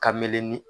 Ka mele